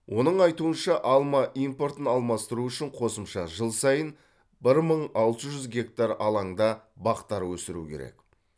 оның айтуынша алма импортын алмастыру үшін қосымша жыл сайын бір мың алты жүз гектар алаңда бақтар өсіру керек